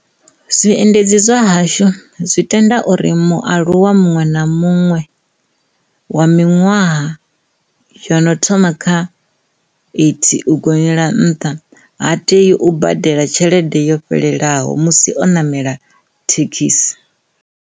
Zwiendedzi zwa hashu zwi tenda uri mualuwa muṅwe na muṅwe wa miṅwaha yono thoma kha eighty u gonyela nṱha ha tei u badela tshelede yo fhelelaho musi o namela thekhisi.